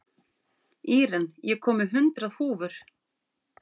Íren, ég kom með hundrað húfur!